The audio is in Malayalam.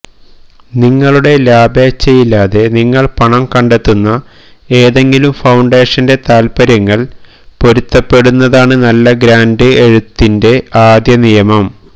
നിങ്ങളുടെ ലാഭേച്ഛയില്ലാതെ നിങ്ങൾ പണം കണ്ടെത്തുന്ന ഏതെങ്കിലും ഫൌണ്ടേഷന്റെ താൽപര്യങ്ങൾ പൊരുത്തപ്പെടുന്നതാണ് നല്ല ഗ്രാൻറ് എഴുത്തിന്റെ ആദ്യ നിയമം